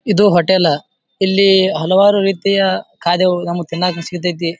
ಇದು ಹೋಟೆಲ್ ಇಲ್ಲಿ ಹಲವಾರು ರೀತಿಯ ಖಾದ್ಯಗಳು ನಮ್ಮಗ ತಿನ್ನಾಕ ಸೀಕತೈತಿ.